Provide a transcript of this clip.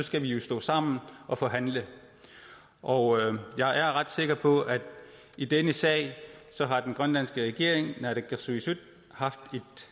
skal vi jo stå sammen og forhandle og jeg er ret sikker på at i denne sag har den grønlandske regering naalakkersuisut haft